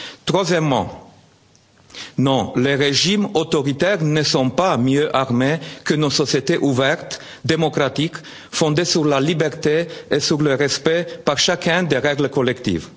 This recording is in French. renforcer. Troisièmement non, les régimes autoritaires ne sont pas mieux armés que nos sociétés ouvertes, démocratiques, fondées sur la liberté et sur le respect par chacun des règles collectives.